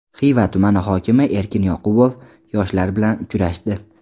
Xiva tumani hokimi Erkin Yoqubov yoshlar bilan uchrashdi.